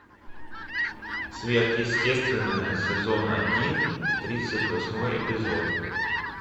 сверхъестественное сезон один тридцать восьмой эпизод